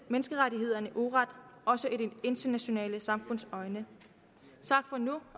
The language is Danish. menneskerettighederne uret også i det internationale samfunds øjne tak for nu